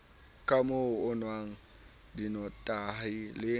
kamoo o nwang dinotahi le